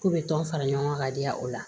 K'u bɛ tɔn fara ɲɔgɔn ka diya o la